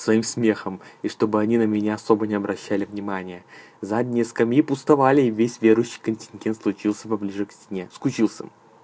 своим смехом и чтобы они на меня особо не обращали внимания задние скамьи пустовали весь верующий контингент случился поближе к стене скучился